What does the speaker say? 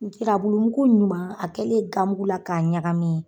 Nsirabulu mugu ɲuman a kɛlen gamugu la k'a ɲagamin